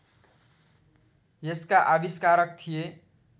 यसका आविष्कारक थिए